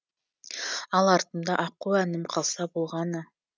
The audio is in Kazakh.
ал артымда аққу әнім қалса болғаны